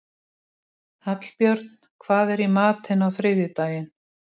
Hallbjörn, hvað er í matinn á þriðjudaginn?